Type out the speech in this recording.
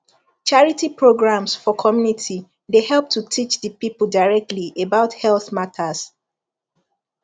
charity programs for community dey help to teach the people directly about health matters